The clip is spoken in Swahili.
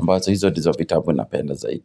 ambazo hizo ndizo vitabu napenda zaidi.